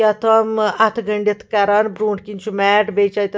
کیٛاہتھامہٕ اَتھہٕ گٔنٛڈِتھ کران بروٗنٛٹھہِ کِنۍچُھ میٹ .بیٚیہِ چھ اَتٮ۪تھ